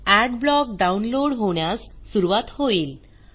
Adblock download होण्यास सुरूवात होईल